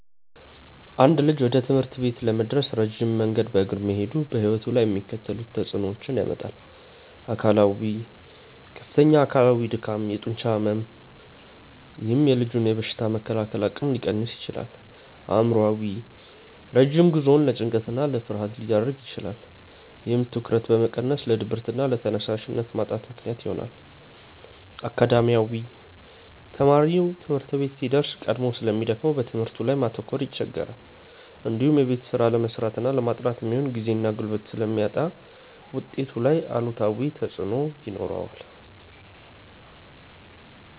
አንድ ልጅ ወደ ትምህርት ቤት ለመድረስ ረጅም መንገድ በእግሩ መሄዱ በሕይወቱ ላይ የሚከተሉትን ተጽዕኖዎች ያመጣል፦ አካላዊ፦ ከፍተኛ አካላዊ ድካም፣ የጡንቻ ሕመም፥፥ ይህም የልጁን በሽታ የመከላከል አቅም ሊቀንስ ይችላል። አእምሯዊ፦ ረጅም ጉዞው ለጭንቀትና ለፍርሃት ሊዳርግ ይችላል። ይህም ትኩረትን በመቀነስ ለድብርትና ለተነሳሽነት ማጣት ምክንያት ይሆናል። አካዳሚያዊ፦ ተማሪው ትምህርት ቤት ሲደርስ ቀድሞ ስለሚደክመው በትምህርቱ ላይ ማተኮር ይቸገራል። እንዲሁም የቤት ስራ ለመስራትና ለማጥናት የሚሆን ጊዜና ጉልበት ስለሚያጣ ውጤቱ ላይ አሉታዊ ተጽዕኖ ይኖረዋል።